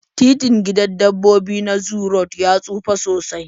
Titin gidan dabbobi na zoo road ya tsufa sosai